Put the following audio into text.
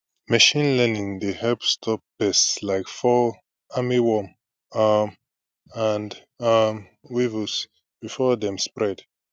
machine learning dey help stop pests like fall army worm um and um weevils before dem spread